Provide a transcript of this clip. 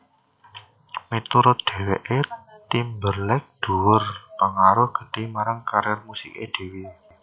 Miturut dheweke Timberlake duwé pengaruh gedhe marang karier musike dheweke